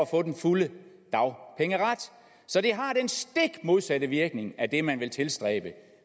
få den fulde dagpengeret så det har den stik modsatte virkning af det man vil tilstræbe